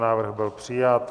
Návrh byl přijat.